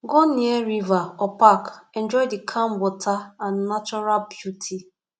go near river or park enjoy the calm water and natural beauty